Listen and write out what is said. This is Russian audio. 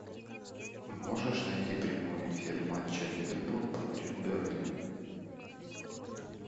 можешь найти прямой эфир матча ливерпуль против бернли